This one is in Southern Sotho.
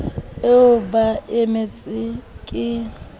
eo ba e emetseng ke